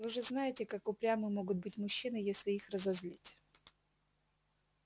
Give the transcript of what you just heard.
вы же знаете как упрямы могут быть мужчины если их разозлить